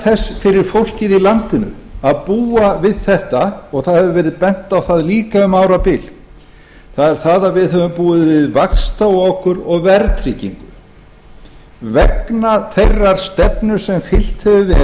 þess fyrir fólkið í landinu að búa við þetta og það hefur verið dæmt á það líka um árabil er það að við hföum búið við vaxtaokur og verðtryggingu vegna þeirrar stefnu sem fylgt hefur